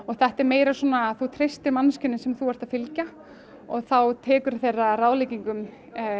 þetta er meira svona þú treystir manneskjunni sem þú ert að fylgja og þá tekurðu þeirra ráðleggingum